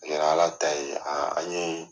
Ala ta ye an ye